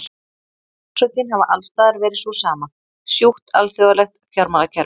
Orsökin hafi alls staðar verið sú sama, sjúkt alþjóðlegt fjármálakerfi.